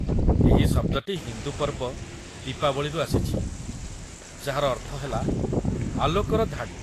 ଏହି ଶବ୍ଦଟି ହିନ୍ଦୁ ପର୍ବ 'ଦୀପାବଳି'ରୁ ଆସିଛି, ଯାହାର ଅର୍ଥ ହେଲା 'ଆଲୋକର ଧାଡ଼ି'।